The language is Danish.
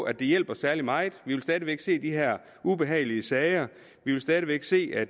at det hjælper særlig meget vi vil stadig væk se de her ubehagelige sager vi vil stadig væk se at